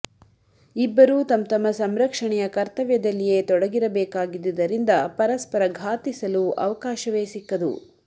ಇಬ್ಬರೂ ತಂತಮ್ಮ ಸಂರಕ್ಷಣೆಯ ಕರ್ತವ್ಯದಲ್ಲಿಯೆ ತೊಡಗಿರಬೇಕಾಗಿದ್ದುದರಿಂದ ಪರಸ್ಪರ ಘಾತಿಸಲು ಅವಕಾಶವೆ ಸಿಕ್ಕದು